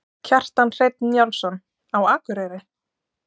Kjartan Hreinn Njálsson: Á Akureyri?